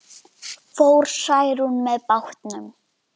Fór Særún með bátnum.